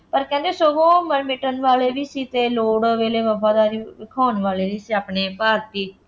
ਪਰ ਕਹਿੰਦੇ ਸਗੋਂ ਉਹ ਮਰ ਮਿਟਣ ਵਾਲੇ ਸੀ ਅਤੇ ਲੋੜ ਵੇਲੇ ਵਫਾਦਾਰੀ ਵਿਖਾਉਣ ਵਾਲੇ ਸੀ ਆਪਣੇ ਭਾਰਤੀ